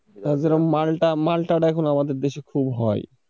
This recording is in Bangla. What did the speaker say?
যেরকম মালটা, মালটা এখন আমাদের দেশে খুব হয়